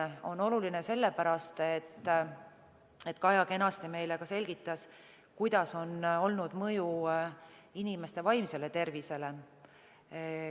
See on oluline sellepärast, nagu Kaja kenasti meile selgitas, milline on olnud mõju inimeste vaimsele tervisele.